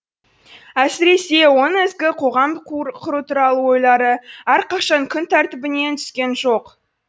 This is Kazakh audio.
әсіресе оның ізгі қоғам құру туралы ойлары әрқашан күн тәртібінен түскен жоқ